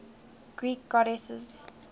greek goddesses